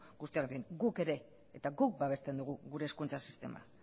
guztiarekin guk eta guk babesten dugu gure hezkuntza sistema